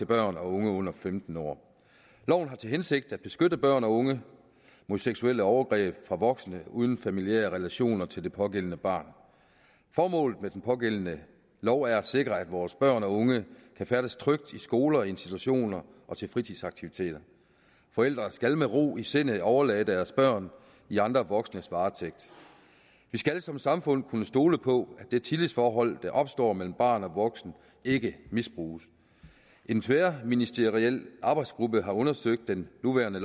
børn og unge under femten år loven har til hensigt at beskytte børn og unge mod seksuelle overgreb fra voksne uden familiære relationer til det pågældende barn formålet med den pågældende lov er at sikre at vores børn og unge kan færdes trygt i skoler og institutioner og til fritidsaktiviteter forældre skal med ro i sindet kunne overlade deres børn i andre voksnes varetægt vi skal som samfund kunne stole på det tillidsforhold der opstår mellem barn og voksen ikke misbruges en tværministeriel arbejdsgruppe har undersøgt den nuværende